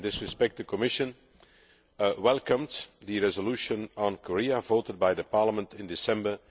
In this respect, the Commission welcomes the resolution on Korea voted by Parliament in December